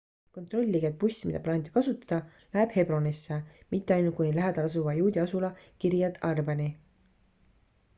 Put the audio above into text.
kontrollige et buss mida plaanite kasutada läheb hebronisse mitte ainult kuni lähedal asuva juudi asula kiryat arbani